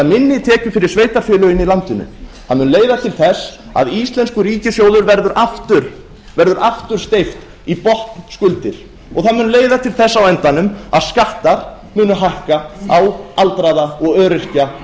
minni tekjur fyrir sveitarfélögin í landinu leiða til þess að íslenskum ríkissjóði verður aftur steypt í botnskuldir og það mun á endanum leiða til þess að skattar munu hækka á aldraða og öryrkja